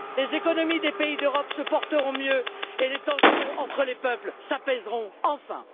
Les économies des pays d'Europe se porteront mieux et les tensions entre les peuples s'apaiseront, enfin.